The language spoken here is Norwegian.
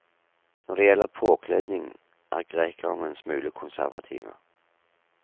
Når det gjelder påkledning, er grekerne en smule konservative.